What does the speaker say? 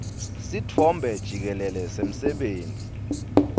sitfombe jikelele semsebenti